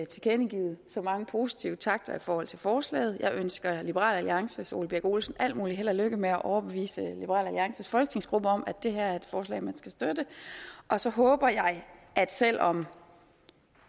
tilkendegivet så mange positive takter i forhold til forslaget jeg ønsker liberal alliances ole birk olesen al mulig held og lykke med at overbevise liberal alliances folketingsgruppe om at det her er et forslag man skal støtte og så håber jeg at selv om